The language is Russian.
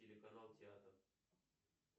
телеканал театр